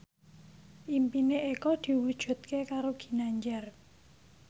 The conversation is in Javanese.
impine Eko diwujudke karo Ginanjar